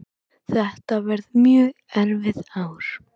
Þetta verði mjög erfið ár